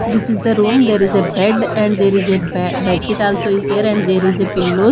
this is the room there is a bed and there is a ba bed bedsheet also is there and there is a pillow.